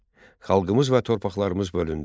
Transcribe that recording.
Xalqımız və torpaqlarımız bölündü.